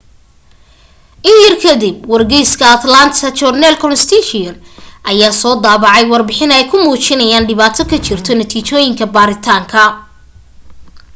in yar ka dib wargeyska atlanta journal-constitution ayaa soo daabacay warbixin ay ku muujinayaan dhibaato ka jirto natiijooyinka baaritaanka